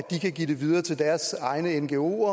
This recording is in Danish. eu og